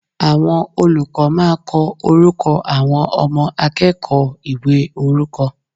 Àwọn olùkó máa ko orúkọ àwọn Ọmọ akéèkòó ìwé orúkọ